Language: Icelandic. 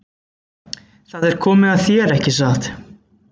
Það er þá komið að þér, ekki satt?